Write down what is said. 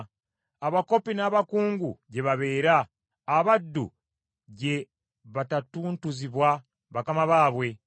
Abakopi n’abakungu gye babeera; abaddu gye batatuntuzibwa bakama baabwe.